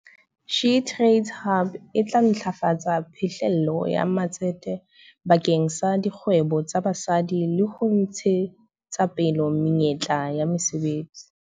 SheTradesZA Hub e tla ntlafatsa phihlello ya matsete bakeng sa dikgwebo tsa basadi le ho ntshetsapele menyetla ya mesebetsi.